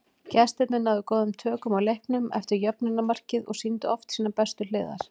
Gestirnir náðu góðum tökum á leiknum eftir jöfnunarmarkið og sýndu oft sínar bestu hliðar.